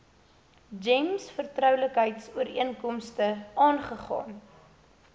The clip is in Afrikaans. gems vertroulikheidsooreenkomste aangegaan